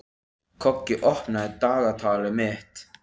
Koggi, opnaðu dagatalið mitt.